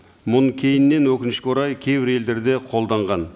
мұны кейіннен өкінішке орай кейбір елдерде қолданған